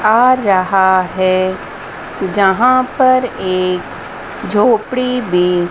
आ रहा है जहां पर एक झोपड़ी भी--